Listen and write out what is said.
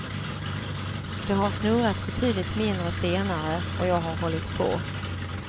Det har snurrat betydligt mindre senare och jag har hållit på.